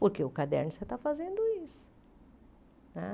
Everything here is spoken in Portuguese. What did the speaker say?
Porque o caderno você está fazendo isso né.